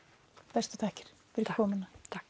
bestu þakkir fyrir komuna takk